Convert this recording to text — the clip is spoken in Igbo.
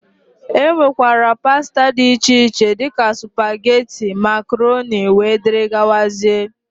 E nwekwara pasta dị iche iche, dịka supageti, makroni wdg.